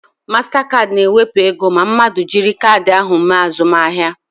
Mastakaadị na ewepụ ego ma mmadụ jiri kaadị ha mee azụmahịa